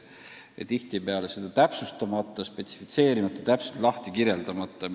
Ja tihtipeale on see jäänud täpsustamata, spetsifitseerimata, lahti seletamata.